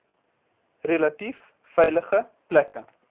relatief veilige plekke